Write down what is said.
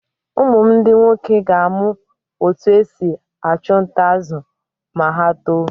Ụmụ m ndi nwoke ga-amụ otú e si achụ nta azụ̀ ma ha tóó.